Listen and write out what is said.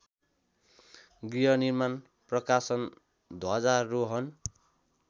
गृहनिर्माण प्रकाशन ध्वजारोहण